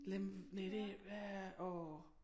Lem næ det hvad åh